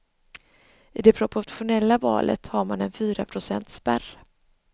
I det proportionella valet har man en fyraprocentsspärr.